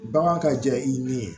Bagan ka jan i ni